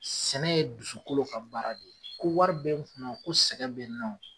Sɛnɛ ye dusukolo ka baara de ye. Ko wɔri bɛ n kun na ko sɛgɛ bɛ nɔ